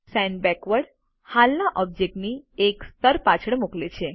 send backward હાલના ઓબ્જેક્ટથી એક સ્તર પાછળ મોકલે છે